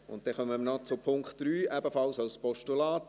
Dann kommen wir noch zu Punkt 3, ebenfalls als Postulat.